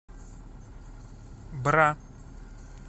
бра